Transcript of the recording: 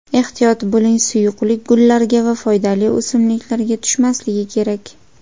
Ehtiyot bo‘ling: suyuqlik gullarga va foydali o‘simliklarga tushmasligi kerak!